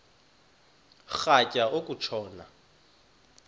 rhatya uku tshona